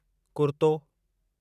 कुर्तो